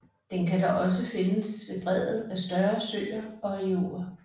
Den kan dog også findes ved bredden af større søer og i åer